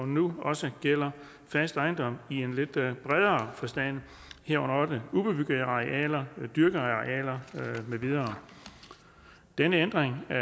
nu også gælder fast ejendom i en lidt bredere forstand herunder også ubebyggede arealer dyrkede arealer med videre denne ændring af